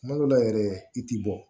Kuma dɔ la yɛrɛ i ti bɔ